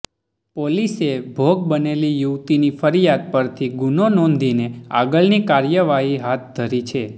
પોલીસે ભોગ બનેલી યુવતીની ફરિયાદ પરથી ગુનો નોંધીને આગળની કાર્યવાહી હાથ ધરી છે